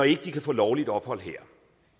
ikke kan få lovligt ophold her